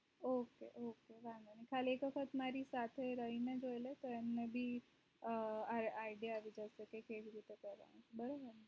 ok ok વાધો નહિ ખાલી એક વખત મારી સાથે રહીને જોઇલો તો એમ`ને પણ idea આવી જશે